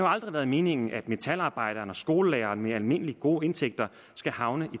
aldrig været meningen at metalarbejdere og skolelærere med almindelige gode indtægter skal havne i